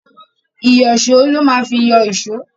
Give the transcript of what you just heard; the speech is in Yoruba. Ìyíṣòó lo má fi yọ èṣó.